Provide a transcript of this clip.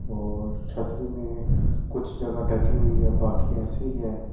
और छतरी में कुछ जगह ढकी हुई है बाकी ऐसी ही है।